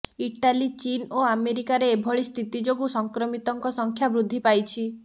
Italy ଚୀନ୍ ଓ ଆମେରିକାରେ ଏଭଳି ସ୍ଥିତି ଯୋଗୁଁ ସଂକ୍ରମିତଙ୍କ ସଂଖ୍ୟା ବୃଦ୍ଧି ପାଇଛି